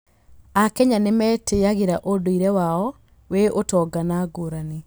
Akenya nĩ metĩĩyagĩra ũndũire wao wĩ ũtonga na ngurani.